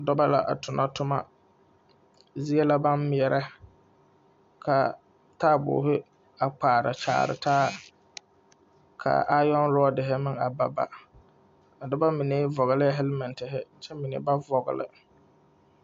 Dɔba la a tona toma zie la baŋ meɛrɛka taabori kpaari kyaari taa ka aayɔŋrɔɔ meŋ baba kaa noba mine vɔglɛɛhɛlmɛtire kyɛ mine meŋ ba vɔgle .